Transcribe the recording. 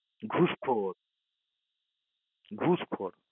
ঘুষ খোর ঘুষ খোর